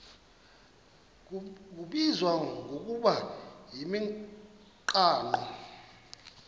kubizwa ngokuba yimigaqo